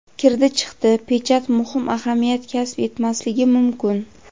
"Kirdi-chiqdi" pechat muhim ahamiyat kasb etmasligi mumkin.